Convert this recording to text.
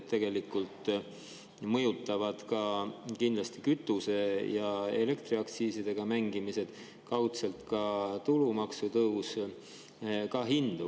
Tegelikult mõjutavad kindlasti kütuse‑ ja elektriaktsiisidega mängimised, kaudselt ka tulumaksu tõus, hindu.